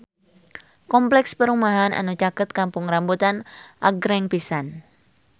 Kompleks perumahan anu caket Kampung Rambutan agreng pisan